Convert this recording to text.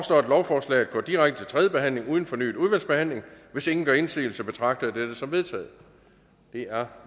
lovforslaget går direkte til tredje behandling uden fornyet udvalgsbehandling hvis ingen gør indsigelse betragter jeg dette som vedtaget det er